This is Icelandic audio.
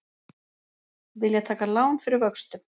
Vilja taka lán fyrir vöxtum